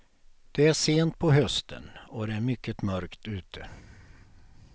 Det är sent på hösten och det är mycket mörkt ute.